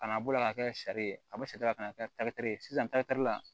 Kana bɔ ala ka kɛ sari ye a bɛ saridaba ka na kɛ ye sisan la